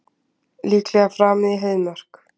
Líklega framið í Heiðmörk